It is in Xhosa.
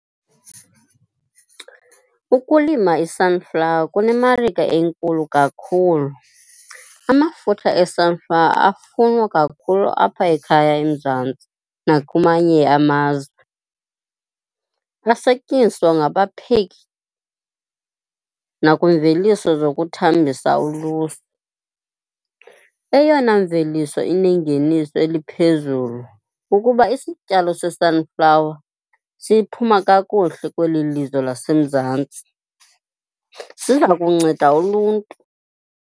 Ukulima i-sunflower kunemarike enkulu kakhulu. Amafutha e-sunflower afunwa kakhulu apha ekhaya eMzantsi nakumanye amazwe. Asetyenziswa ngabapheki nakwiimveliso zokuthambisa ulusu. Eyona mveliso inengeniso eliphezulu kukuba isityalo se-sunflower siphuma kakuhle kweli lizwe laseMzantsi, siza kunceda uluntu.